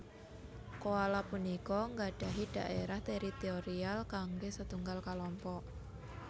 Koala punika nggadhahi dhaérah teritorial kanggé setunggal kalompok